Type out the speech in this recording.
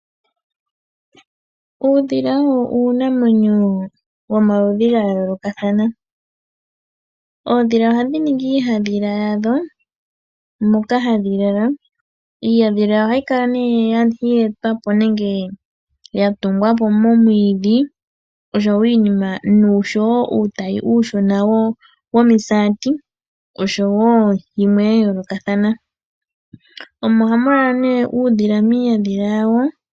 Uudhila owo uunamwenyo womaludhi gaayolokathana. Oodhila ohadhiningi iihadhila yadho moka hadhilala. Iiyadhila ohaikala yeetwapo nenge yatungwapo momwiidhi osho wo iinima, nosho wo uutayi uushona womisaati. Oshowo yimwee yayoolokathana. Omo hamulala nee uudhila miinyadhila yawo.